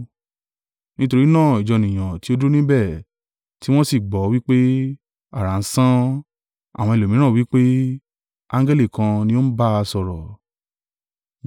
Nítorí náà ìjọ ènìyàn tí ó dúró níbẹ̀, tí wọ́n sì gbọ́ ọ, wí pé, “Àrá ń sán.” Àwọn ẹlòmíràn wí pé, “Angẹli kan ni ó ń bá a sọ̀rọ̀.”